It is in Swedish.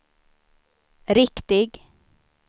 riktig